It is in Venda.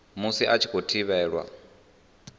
musi a tshi khou thivhelwa